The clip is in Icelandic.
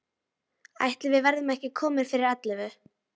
Ætli við verðum ekki komin fyrir ellefu.